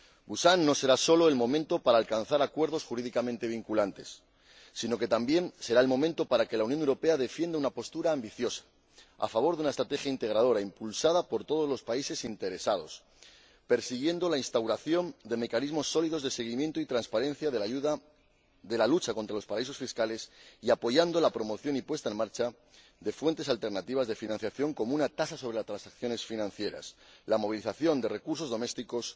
Busan no será sólo el momento para alcanzar acuerdos jurídicamente vinculantes, sino que también será el momento para que la Unión Europea defienda una postura ambiciosa a favor de una estrategia integradora, impulsada por todos los países interesados, persiguiendo la instauración de mecanismos sólidos de seguimiento y transparencia de la lucha contra los paraísos fiscales, y apoyando la promoción y puesta en marcha de fuentes alternativas de financiación como una tasa sobre las transacciones financieras la movilización de recursos domésticos